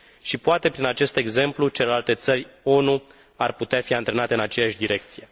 Și, poate, prin acest exemplu, celelalte țări ONU ar putea fi antrenate în aceeași direcție.